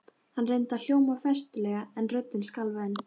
Hann reyndi að hljóma festulega en röddin skalf enn.